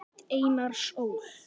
Rit Einars Ól.